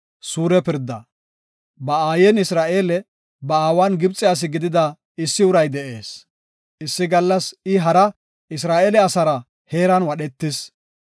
Ba aayen Isra7eele, ba aawan Gibxe asi gidida issi uray de7ees. Issi gallas I hara Isra7eele asara heeran wadhetis.